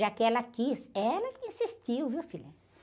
Já que ela quis, ela insistiu, viu, filha?